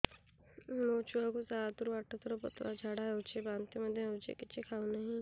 ମୋ ଛୁଆ କୁ ସାତ ରୁ ଆଠ ଥର ପତଳା ଝାଡା ହେଉଛି ବାନ୍ତି ମଧ୍ୟ୍ୟ ହେଉଛି କିଛି ଖାଉ ନାହିଁ